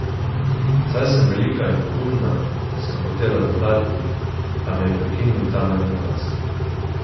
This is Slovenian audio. Saj sem velika in pogumna, sem hotela dodati, a me je prekinil Tamarin glas.